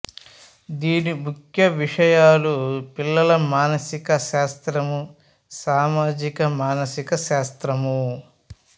దీని ముఖ్య విషయాలు పిల్లల మానసిక శాస్త్రము సామాజిక మానసిక శాస్త్రము